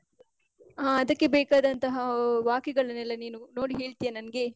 ಹಾ ಅದಕ್ಕೆ ಬೇಕಾದಂತಹಃ ಆ ವಾಕ್ಯಗಳನ್ನೆಲ್ಲ ನೀನು ನೋಡಿ ಹೇಳ್ತಿಯಾ ನಂಗೇ?